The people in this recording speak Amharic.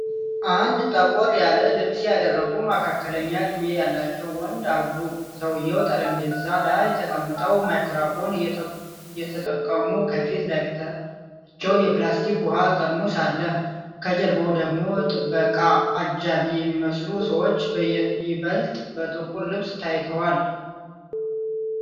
አንድ ጠቆር ያለ ልብስ ያደረጉ መካከለኛ እድሜ ያላቸውን ወንድ አሉ። ሰውየው ጠረጴዛ ላይ ተቀምጠው ማይክሮፎን አየተጠቀሙ፣ ከፊት ለፊታቸው የፕላስቲክ ውኃ ጠርሙስ አለ። ከጀርባው ደግሞ ጥበቃ/አጃቢ የሚመስሉ ሰዎች በይበልጥ በጥቁር ልብስ ታይተዋል።